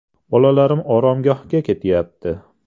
Bolalarim oromgohga ketyapti.